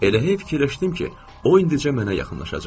Elə hətta düşündüm ki, o indincə mənə yaxınlaşacaq.